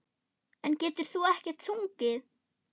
En getur þú ekkert sungið?